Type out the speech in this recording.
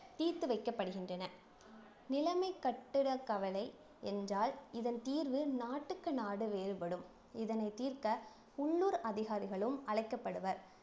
தீர்த்து வைக்கப்படுகின்றன நிலைமை கட்டுற கவலை என்றால் இதன் தீர்வு நாட்டுக்கு நாடு வேறுபடும் இதனை தீர்க்க உள்ளூர் அதிகாரிகளும் அழைக்கப்படுவர்